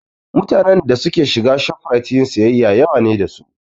Mutanen da suke shiga Shoprite yin siyayya yawa ne da su